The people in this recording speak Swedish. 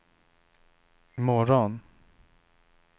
imorgon